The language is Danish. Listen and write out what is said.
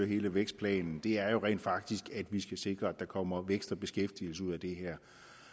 hele vækstplanen er jo rent faktisk at vi skal sikre at der kommer vækst og beskæftigelse ud af det her